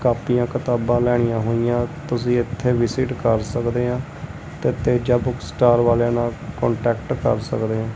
ਕਾਪੀਆਂ ਕਿਤਾਬਾਂ ਲੈਣੀਆਂ ਹੋਈਆਂ ਤੁਸੀ ਇੱਥੇ ਵਿਸਿਟ ਕਰ ਸਕਦੇ ਆਂ ਤੇ ਤੇਜਾ ਬੁੱਕ ਸਟਾਰ ਵਾਲਿਆਂ ਨਾਲ ਕਾਂਟੈਕਟ ਕਰ ਸਕਦੇ ਆਂ।